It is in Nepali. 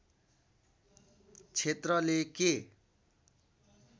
क्षेत्रले के